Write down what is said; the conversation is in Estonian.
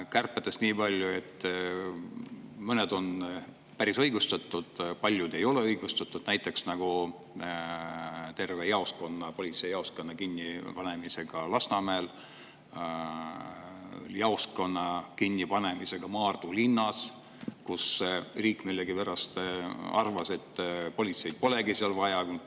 Kärbetest nii palju, et mõned on päris õigustatud, aga paljud ei ole õigustatud, näiteks terve politseijaoskonna kinnipanemine Lasnamäel ja jaoskonna kinnipanemine Maardu linnas – riik millegipärast arvas, et politseid polegi seal vaja.